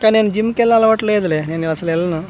కానీ నెన్ జిమ్ కి ఏళ్ళే అలవాటు లేదులే నేను అసలు ఎళ్ళను .]